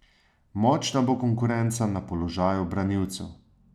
Močna bo konkurenca na položaju branilcev.